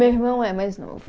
Meu irmão é mais novo.